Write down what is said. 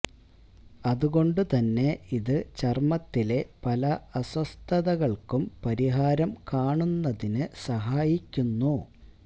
അതുകൊണ്ട് തന്നെ ഇത് ചര്മ്മത്തിലെ പല അസ്വസ്ഥതകള്ക്കും പരിഹാരം കാണുന്നതിന് സഹായിക്കുന്നു